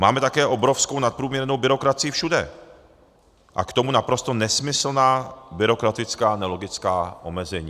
Máme také obrovskou nadprůměrnou byrokracii všude a k tomu naprosto nesmyslná byrokratická nelogická omezení.